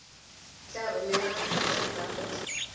tla romela kopo ya gago